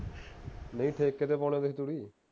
ਨਹੀਂ ਗਏ ਸੀ ਤੁਸੀਂ